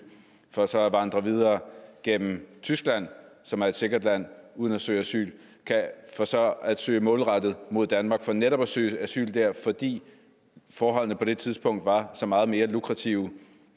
for så at vandre videre gennem tyskland som er et sikkert land uden at søge asyl for så at søge målrettet mod danmark for netop at søge asyl her fordi forholdene på det tidspunkt var så meget mere lukrative